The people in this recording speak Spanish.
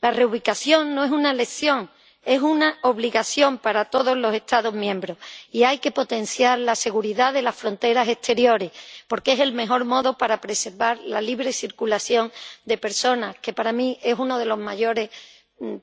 La reubicación no es una elección, es una obligación para todos los Estados miembros. Hay que potenciar la seguridad de las fronteras exteriores, porque es el mejor modo para preservar la libre circulación de personas, que para mí es uno de los mayores